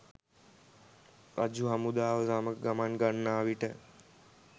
රජු හමුදාව සමඟ ගමන් ගන්නාවිට